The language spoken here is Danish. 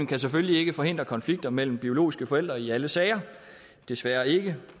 kan selvfølgelig ikke forhindre konflikter mellem biologiske forældre i alle sager desværre ikke